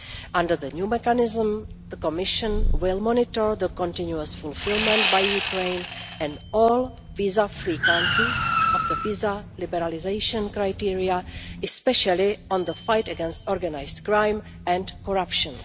Under the new mechanism, the Commission will monitor the continuous fulfilment by Ukraine and all visa free countries of the visa liberalisation criteria, especially in the fight against organised crime and corruption.